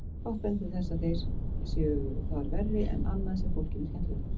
Fátt bendir til þess að þeir séu þar verri en annað sem fólki finnst skemmtilegt.